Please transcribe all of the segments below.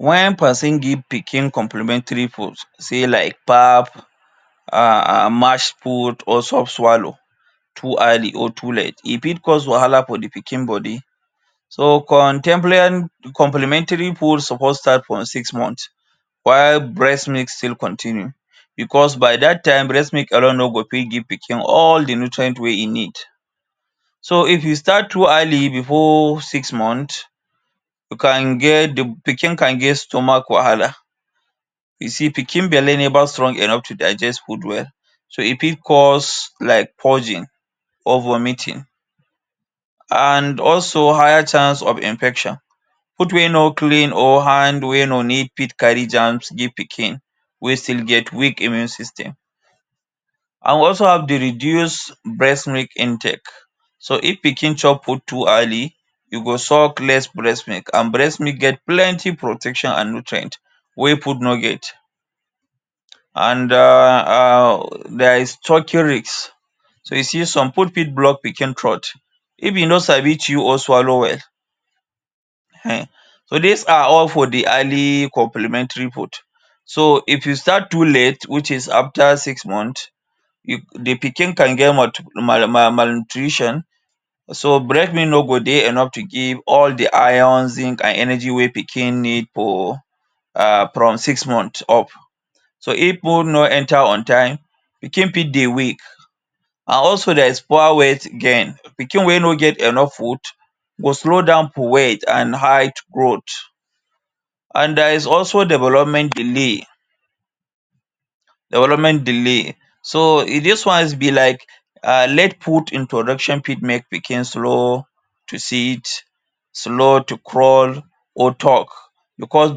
Wen give pikin complimentary food sey like pap um mash food or soft swallow too early or too late, e fit cause wahala for the pikin body. So, comtempary complimentary food suppose start from six month while breast milk still continue becos by that time, breast milk alone no go fit give pikin all the nutrient wey e need. So, if you start too early before six month, you can get the pikin can get stomach wahala. You see, pikin belle neva strong enough to digest food well. So, e fit cause like purging or vomiting, and also higher chance of infection. Food wey no clean or hand no neat fit carry germs give pikin wey still get weak immune system. An we also the reduce breast milk intake. So, if pikin chop food too early, you go suck less breast milk an breast milk get plenty protection and nutrient wey food no get. An um there is tracheal risk. So you see some food fit block pikin throat if e no sabi chew or swallow well. um so dis are all for the early complimentary food. So, if you start too late which is after six month, you the pikin can get malnutrition. So, breast milk no go dey enough to give all the iron, zinc, and energy wey pikin need for um from six month up. So, if food no enter on time, pikin fit dey weak. And also there is poor weight gain. Pikin wey no get enough food go slow down for weight and height growth. And there is also development delay, development delay. So, dis ones be like um late food introduction fit make pikin slow to sit, slow to crawl or talk becos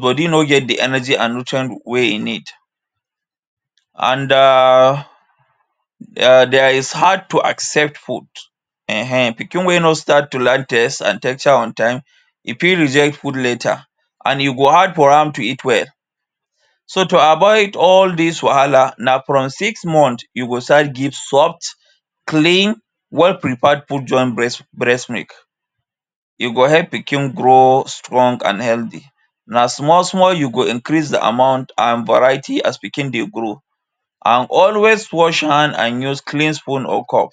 body no get the energy and nutrient wey e need. And um there is hard to accept food. um Pikin wey no start to like an on time, e fit reject food later, and e go hard for am to eat well. So, to avoid all dis wahala, na from six month you go start give soft, clean, well prepared food join breast breast milk. e go help pikin grow strong and healthy. Na small small you go increase the amount and variety as pikin dey grow. And always wash hand and use clean spoon or cup.